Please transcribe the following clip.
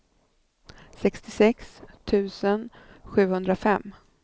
sextiosex tusen sjuhundrafem